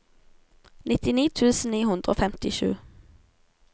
nittini tusen ni hundre og femtisju